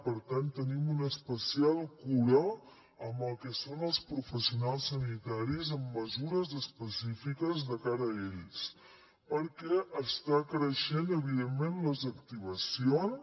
per tant tenim una especial cura amb el que són els professionals sanitaris amb mesures específiques de cara a ells perquè estan creixent evidentment les activacions